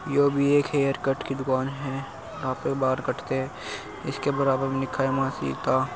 यो भी एक hair cut की दुकान हैं यह पे बाल कटते है। इसके बराबर में लिखा है माँ सीता --